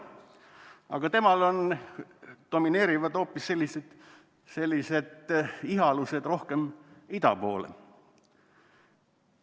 Aga temal on domineerivad hoopis sellised ihalused rohkem ida poole.